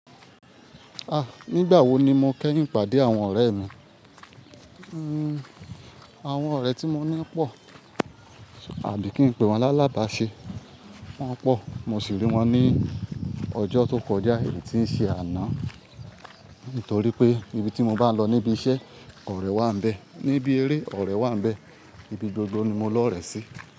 Ah! Nígbà wo ni mọ kẹ́yìn pàdé àwọn ọ̀rẹ́ mi, hmmm, àwọn ọ̀rẹ́ tí mo ní pọ̀ tàbí kí n pe wón lalabá ṣe, wón pọ̀ mo sì rí wón ní ọjọ́ tó kọjá èyí tí ń ṣe àná, nítorí pé ibi tí mo bá lọ níbi iṣẹ́ ọ̀rẹ́ wà bẹ, níbí eré ọ̀rẹ́ wà bẹ, ibi gbogbo ni mo lọ rẹ̀ sí.